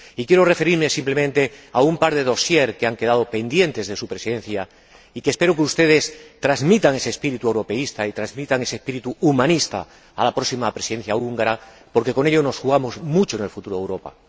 Y quiero referirme simplemente a un par de dosieres que han quedado pendientes de su Presidencia y sobre los que espero que ustedes transmitan ese espíritu europeísta y ese espíritu humanista a la próxima Presidencia húngara, porque con ello nos jugamos mucho en el futuro de Europa.